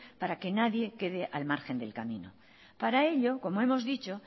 para que nadie quede al margen del camino para ello como hemos dicho